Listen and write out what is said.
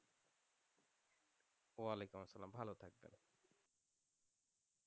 ওয়ালিকুম আসালাম ভালো থাকবেন।